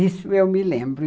Isso eu me lembro.